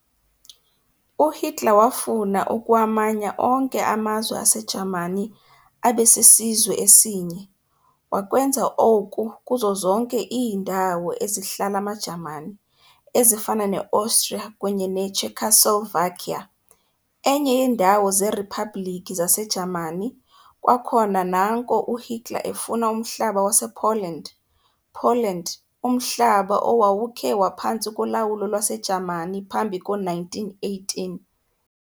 UHitler wafuna ukuwamanya onke amazwe aseJamani abesisizwe esinye, wakwenza oku kuzo zonke iindawo ezihlala amaJamani, ezifana ne-Austria kunye ne-Czechoslovakia, enye yeendawo zeRhipublikhi zase Jamani, kwakhona nanko uUHitler efuna umhlaba wasePoland Poland, umhlaba owawukhe waphantsi kolawulo lwaseJamani phambi ko-1918.